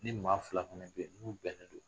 Ni maa fila kun bɛ bɛn ninnu bɛnnen non.